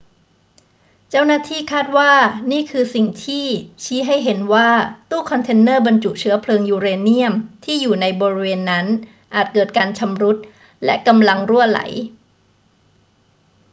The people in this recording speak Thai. เจ้าหน้าที่คาดว่านี่คือสิ่งที่ชี้ให้เห็นว่าตู้คอนเทนเนอร์บรรจุเชื้อเพลิงยูเรเนียมที่อยู่ในบริเวณนั้นอาจเกิดการชำรุดและกำลังรั่วไหล